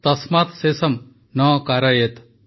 ତସ୍ମାତ୍ ଶେଷମ୍ ନ କାରୟେତ